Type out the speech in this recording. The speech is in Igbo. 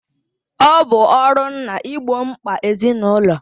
Ọ bụ ọrụ nna igbo mkpa ezinụlọ